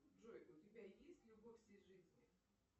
джой у тебя есть любовь всей жизни